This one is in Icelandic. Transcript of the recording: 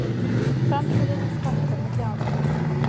Framteljendum fækkar milli ára